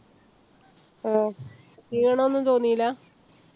ഹൊ ക്ഷീണം ഒന്നും തോന്നില്ല?